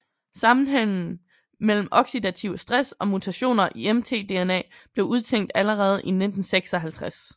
Sammenhængen mellem oxidativ stress og mutationer i mtDNA blev udtænkt allerede i 1956